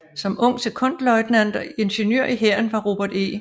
Som ung sekondløjtnant og ingeniør i hæren var Robert E